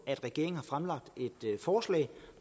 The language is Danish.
at regeringen har fremlagt et forslag